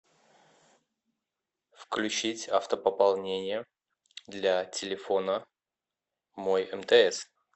включить автопополнение для телефона мой мтс